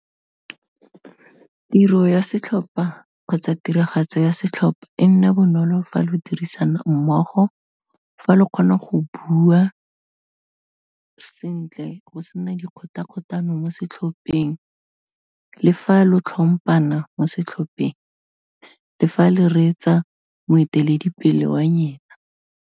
Tiro ya setlhopha, kgotsa tiragatso ya setlhopha e nne bonolo fa le dirisana mmogo, fa le kgona go bua sentle go sena dikgotakgotano mo setlhopheng, le fa lo tlhompana mo setlhopheng le fa le reetsa moeteledipele wa nyena.